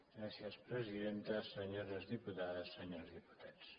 gràcies presidenta senyores diputades i senyors diputats